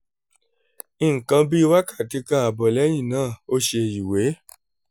nǹkan bí wákàtí kan ààbọ̀ lẹ́yìn náà ó ṣe ìwè